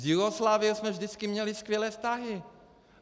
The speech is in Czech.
S Jugoslávií jsme vždycky měli skvělé vztahy.